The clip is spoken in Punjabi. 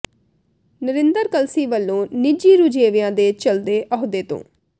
ਨਰਿੰਦਰ ਕਲਸੀ ਵਲੋਂ ਨਿੱਜੀ ਰੁਝੇਵਿਆਂ ਦੇ ਚੱਲਦੇ ਅਹੁਦੇ ਤੋਂ